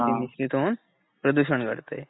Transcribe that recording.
मिश्रित होऊन प्रदूषण घडते.